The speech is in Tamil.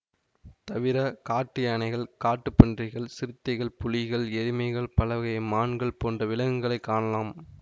தவிர காட்டு யானைகள் காட்டுப் பன்றிகள் சிறுத்தைகள் புலிகள் எருமைகள் பலவகை மான்கள் போன்ற விலங்குகளை காணலாம்